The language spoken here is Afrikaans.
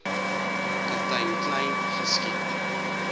kaptein kleyn geskiet